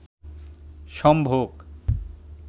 সম্ভোগ